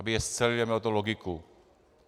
Aby je scelili a mělo to logiku.